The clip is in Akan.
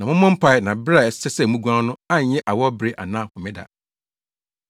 Na mommɔ mpae na bere a ɛsɛ sɛ muguan no anyɛ awɔwbere anaa Homeda.